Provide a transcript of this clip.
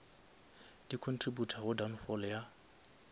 di contributa go downfall ya